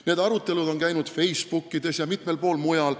Need arutelud on käinud Facebookis ja mitmel pool mujal.